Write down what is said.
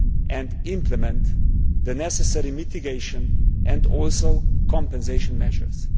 and implement the necessary mitigation and also compensation measures.